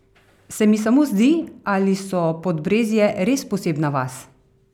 Se mi samo zdi, ali so Podbrezje res posebna vas?